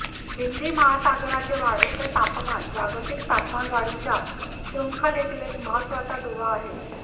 हिंदी महासागराचे वाढते तापमान जागतिक तापमानवाढीच्या शृंखलेतील एक महत्त्वाचा दुवा आहे